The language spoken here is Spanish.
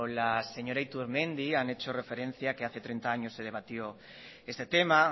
la señora iturmendi han hecho referencia a que hace treinta años se debatió este tema